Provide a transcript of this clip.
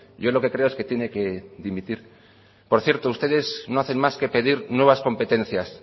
yo lo que creo es que tiene que dimitir por cierto ustedes no hacen más que pedir nuevas competencias